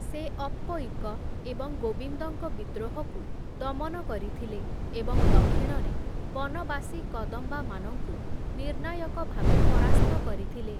ସେ ଅପ୍ପୟିକ ଏବଂ ଗୋବିନ୍ଦଙ୍କ ବିଦ୍ରୋହକୁ ଦମନ କରିଥିଲେ ଏବଂ ଦକ୍ଷିଣରେ ବନବାସୀ କଦମ୍ବାମାନଙ୍କୁ ନିର୍ଣ୍ଣାୟକ ଭାବେ ପରାସ୍ତ କରିଥିଲେ ।